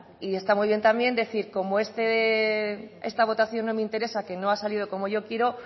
y está muy bien también decir como esta votación no me interesa que no ha salido como yo quiero